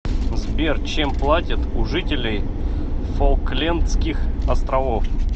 сбер чем платят у жителей фолклендских островов